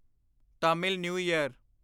Tamil new year